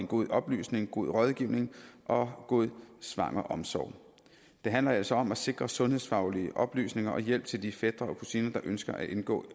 god oplysning god rådgivning og god svangreomsorg det handler altså om at sikre sundhedsfaglige oplysninger og hjælp til de fætre og kusiner der ønsker at indgå